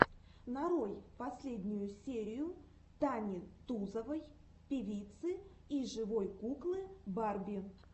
нарой последнюю серию тани тузовой певицы и живой куклы барби